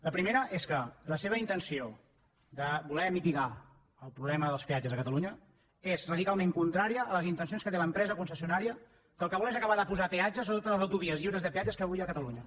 la primera és que la seva intenció de voler mitigar el problema dels peatges a catalunya és radicalment contrària a les intencions que té l’empresa concessionària que el que vol és acabar de posar peatges a totes les autovies lliures de peatges que avui hi ha a catalunya